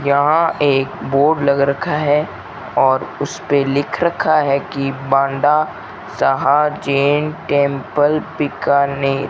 यहां एक बोर्ड लगा रखा है और उस पे लिख रखा है कि बांडा साहा जैन टेंपल बीकानेर।